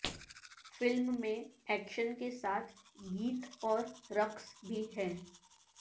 film میں action کے ساتھ گیت اور رقص بھی ہیں